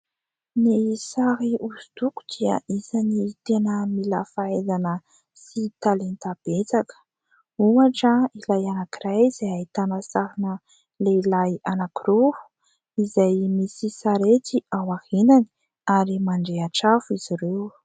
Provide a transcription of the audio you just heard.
Ny sary hosodoko dia isan'ny tena mila fahaizana sy talenta betsaka. Ohatra ilay anankiray izay ahitana sarina lehilahy anankiroa izay misy sarety ao aoriany ary mandrehitra afo izy ireo.